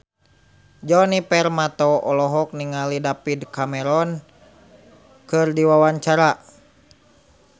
Djoni Permato olohok ningali David Cameron keur diwawancara